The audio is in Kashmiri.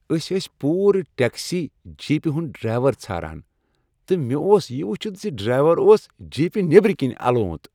أسۍٲسۍ پورٕ ٹیکسی جیپِہ ہند ڈرایور ژھاران تہٕ مےٚ اوٚس یِہ ؤچھتھ زِ ڈرایور اوس جیپِہ نیبرۍ کِنۍ الوند۔